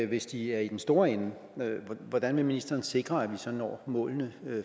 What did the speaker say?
hvis de er i den store ende hvordan vil ministeren sikre at vi så når målene